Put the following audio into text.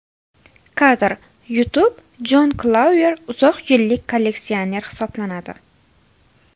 Kadr: YouTube Jon Klauer uzoq yillik kolleksioner hisoblanadi.